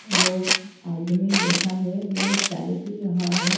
लोग आदमी बैठा है वो चाय पी रहा है।